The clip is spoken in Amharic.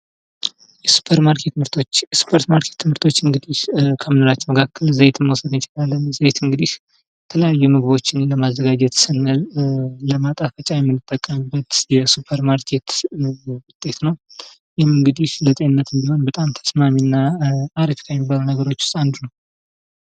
የሱፐር ማርኬት ምርቶች፦ የሱፐር ማርኬት ምርቶች እንግድህ ከምግባችን መካከል ዘይትን መውሰድ እንችላለን ዘይት እንግድህ የተለያዩ ምግቦችን ለማዘጋጀት ስንል ለማጣፈጫ የምንጠቀምበት የሱፐር ማርኬት ውጤት ነው። ይህም እንግድህ ለጤንነትም ቢሆን ተስማሚና አሪፍ ከሚባሉት ነገሮች ውስት አንዱ ነው።